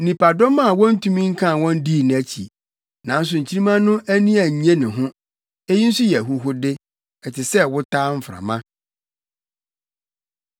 Nnipadɔm a wontumi nkan wɔn dii nʼakyi. Nanso nkyirimma no ani annye ne ho. Eyi nso yɛ ahuhude, ɛte sɛ wotaa mframa.